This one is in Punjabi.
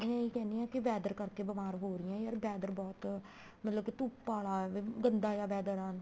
ਇਹ ਕਹਿਣੀ ਏ ਕੇ weather ਕਰਕੇ ਬੀਮਾਰ ਹੋ ਰਹੀਆਂ weather ਬਹੁਤ ਮਤਲਬ ਕੇ ਧੁੱਪ ਆਲਾ ਗੰਦਾ ਜਾ weather ਆ